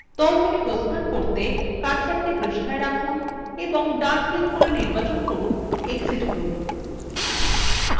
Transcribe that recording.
দল থেকে প্রস্থান করতে কার্সারটি পৃষ্ঠায় রাখুন এবং ডান click করে নির্বাচন করুন exit group